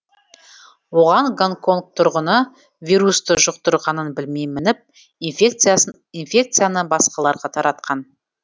оған гонконг тұрғыны вирусты жұқтырғанын білмей мініп инфекцияны басқаларға таратқан